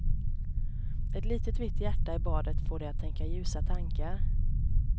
Ett litet vitt hjärta i badet får dig att tänka ljusa tankar.